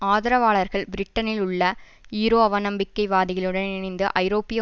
ஆதரவாளர்கள் பிரிட்டனில் உள்ள ஈரோஅவநம்பிக்கை வாதிகளுடன் இணைந்து ஐரோப்பிய